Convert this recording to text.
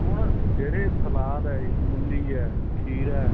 ਹੁਣ ਜਿਹੜੇ ਸਲਾਦ ਏ ਮੁੱਲੀ ਏ ਖੀਰਾ ਏ